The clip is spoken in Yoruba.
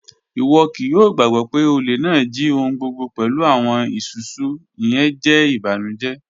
Iwọ kii yoo gbagbọ pe ole naa ji ohun gbogbo pẹlu awọn isusu, iyẹn jẹ ibanujẹ